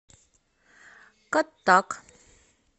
каттак